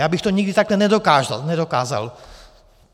Já bych to nikdy takhle nedokázal.